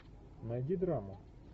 найди драму